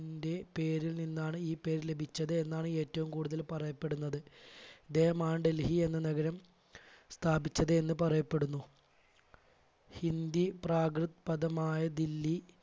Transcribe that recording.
ൻറെ പേരിൽ നിന്നാണ് ഈ പേര് ലഭിച്ചത് എന്നാണ് ഏറ്റവും കൂടുതൽ പറയപ്പെടുന്നത് അദ്ദേഹമാണ് ഡൽഹി എന്ന നഗരം സ്ഥാപിച്ചത് എന്ന് പറയപ്പെടുന്നു. ഹിന്ദി പ്രാകൃദ് പദമായ ദില്ലി